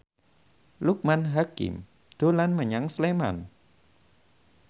Loekman Hakim dolan menyang Sleman